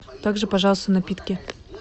также пожалуйста напитки